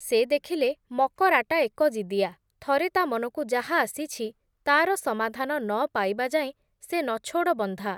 ସେ ଦେଖିଲେ ମକରାଟା ଏକଜିଦିଆ, ଥରେ ତା’ ମନକୁ ଯାହା ଆସିଛି, ତା’ର ସମାଧାନ ନ ପାଇବା ଯାଏଁ ସେ ନଛୋଡ଼ ବନ୍ଧା ।